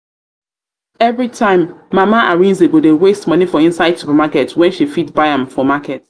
time mama arinze go dey waste money for inside supermarket when she fit buy am for market